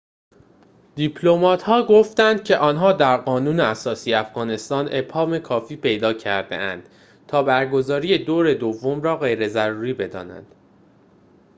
دیپلمات‌ها گفتند که آنها در قانون اساسی افغانستان ابهام کافی پیدا کرده‌اند تا برگزاری دور دوم را غیر ضروری بدانند